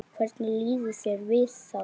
Hvernig líður þér við það?